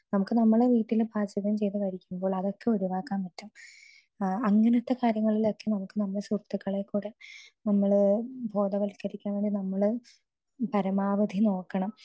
speaker 2 നമുക്ക് നമ്മുടെ വീട്ടിൽ പാചകം ചെയ്തത് കഴിക്കുമ്പോൾ അതൊക്കെ ഒഴിവാക്കാൻ പറ്റും അങ്ങനത്തെ കാര്യങ്ങളിലൊക്കെ നമുക്ക് നമ്മുടെ സുഹൃത്തുക്കളെ കൂടെ നമ്മള് ബോധവത്കരിക്കാൻ നമ്മൾ പരമാവധി നോക്കണം